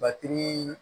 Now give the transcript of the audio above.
Batiri